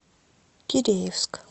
киреевск